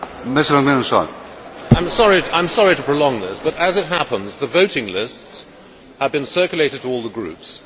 Mr President, I am sorry to prolong this but as it happens, the voting lists have been circulated to all the groups.